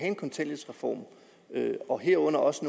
en kontanthjælpsreform og herunder også